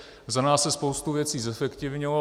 Za nás se spoustu věcí zefektivnilo.